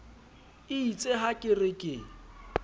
eitse ha ke re ke